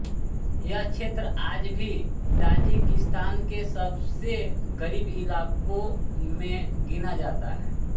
यह क्षेत्र आज भी ताजिकिस्तान के सबसे ग़रीब इलाक़ों में गिना जाता है